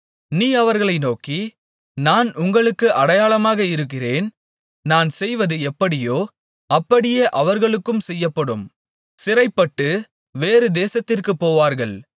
நீ அவர்களை நோக்கி நான் உங்களுக்கு அடையாளமாக இருக்கிறேன் நான் செய்வது எப்படியோ அப்படியே அவர்களுக்கும் செய்யப்படும் சிறைப்பட்டுப் வேறு தேசத்திற்கு போவார்கள்